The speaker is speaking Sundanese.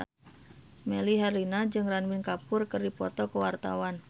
Melly Herlina jeung Ranbir Kapoor keur dipoto ku wartawan